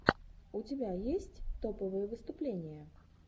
у тебя есть топовые выступления